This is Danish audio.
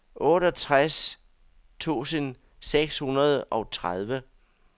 otteogtres tusind seks hundrede og tredive